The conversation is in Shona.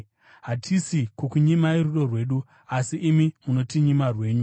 Hatisi kukunyimai rudo rwedu, asi imi munotinyima rwenyu.